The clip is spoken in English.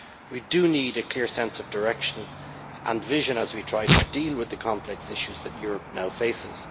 We do need a clear sense of direction and vision as we try to deal with the complex issues that Europe now faces.